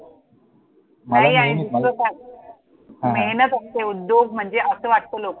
मला नेहमीच मला हां हां मेहनत असते, उद्योग म्हणजे असं वाटतं लोका